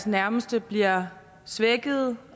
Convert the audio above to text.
nærmeste bliver svækkede